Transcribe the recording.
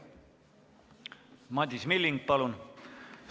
Madis Milling, palun!